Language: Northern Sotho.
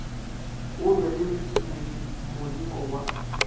o lwe le moleko wa